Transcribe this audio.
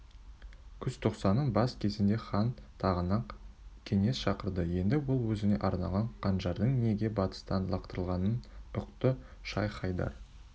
күзтоқсанның бас кезінде хан тағанақ кеңесіншақырды енді ол өзіне арналған қанжардың неге батыстан лақтырылғанын ұқты шайх-хайдар